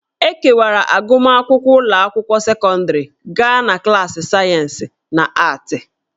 E kewara agụmakwụkwọ ụlọ akwụkwọ sekọndrị gaa na klaasị sayensị na aatị